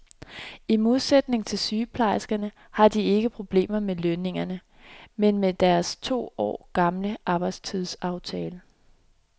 I modsætning til sygeplejerskerne har de ikke problemer med lønningerne, men med deres to år gamle arbejdstidsaftale.